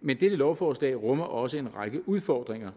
men dette lovforslag rummer også en række udfordringer